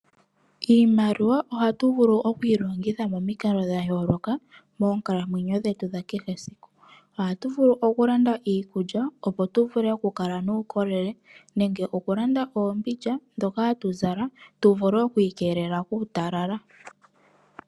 Iimaliwa ohatu vulu oku yi longitha momikalo dha yooloka moonkalamwenyo dhetu dha kehe esiku. Ohatu vulu okulanda iikulya, opo tu vule okukala nuukolele nenge okulanda oombindja ndhoka hatu zala tu vule oku ikelela kuutalala.